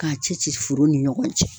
K'a cɛci forow ni ɲɔgɔn cɛ